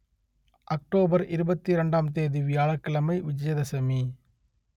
October இருபத்தி இரண்டாம் தேதி வியாழக் கிழமை விஜயதசமி